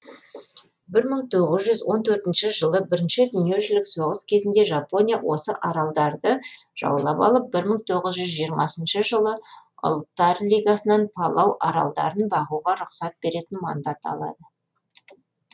бір мың тоғыз жүз он төртінші жылы бірінші дүниежүзілік соғыс кезінде жапония осы аралдарды жаулап алып бір мың тоғыз жүз жиырмасыншы жылы ұлттар лигасынан палау аралдарын бағуға рұқсат беретін мандат алады